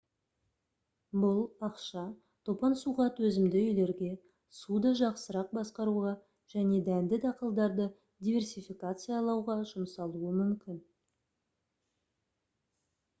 бұл ақша топан суға төзімді үйлерге суды жақсырақ басқаруға және дәнді дақылдарды диверсификациялауға жұмсалуы мүмкін